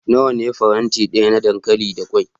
Nawa ne faranti daya na dankali da kwai?